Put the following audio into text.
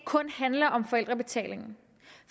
kun handler om forældrebetalingen